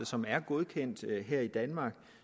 som er godkendt her i danmark og